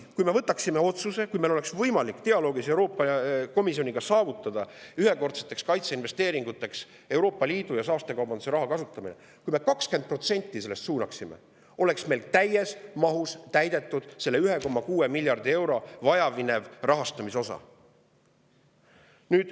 Kui me võtaksime vastu otsuse, kui meil oleks võimalik dialoogis Euroopa Komisjoniga saavutada ühekordseteks kaitseinvesteeringuteks Euroopa Liidu saastekaubanduse raha kasutamine, kui me jaoks suunaksime sellest 20%, oleks meil täies mahus täidetud selle 1,6 miljardi euro jaoks vajaminev rahastamise osa.